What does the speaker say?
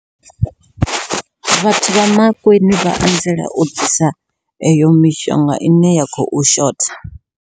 Vhathu vha Mankweng vha anzela u ḓisa eyo mishonga ine ya khou shotha.